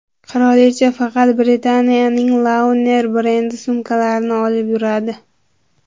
Qirolicha faqat Britaniyaning Launer brendi sumkalarini olib yuradi.